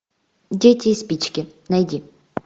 дети и спички найди